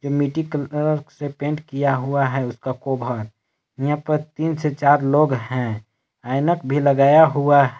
मिटी के से पेंट किया हुआ है इसका यहां पर तीन से चार लोग हैं ऐनक भी लगाया हुआ--